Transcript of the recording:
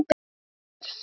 Þar þurfti